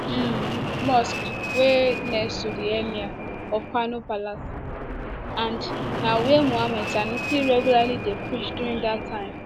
di um mosque dey next to di emir um of kanos palace and na wia mohammed sanusi ii regularly dey preach during dat time